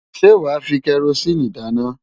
Ṣé wàá fi kẹrosíìnì dáná?